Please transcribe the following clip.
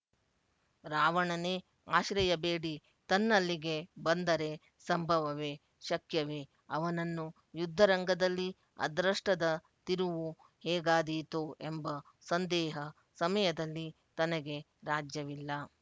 ರಾವಣನೇ ಆಶ್ರಯಬೇಡಿ ತನ್ನಲ್ಲಿಗೆ ಬಂದರೆಸಂಭವವೆ ಶಕ್ಯವೆ ಅವನನ್ನು ಯುದ್ಧರಂಗದಲ್ಲಿ ಅದೃಷ್ಟದ ತಿರುವು ಹೇಗಾದೀತೊ ಎಂಬ ಸಂದೇಹ ಸಮಯದಲ್ಲಿ ತನಗೆ ರಾಜ್ಯವಿಲ್ಲ